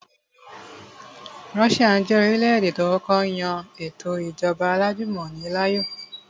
Russia jẹ́ orílẹ̀-èdè tó kọ́kọ́ yan ètò ìjọba alájùmọ̀ni láàyò